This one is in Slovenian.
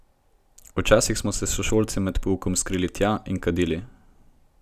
Včasih so se sošolci med poukom skrili tja in kadili.